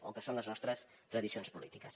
o que són les nostres tradicions polítiques